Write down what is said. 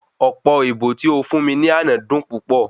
Ọ̀pọ̀ èbó tí ó fún mi ní àná dun púpọ̀